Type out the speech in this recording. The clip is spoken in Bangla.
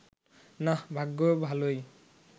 নাহ্, ভাগ্য ভালোই